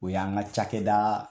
O y'an ka cakɛda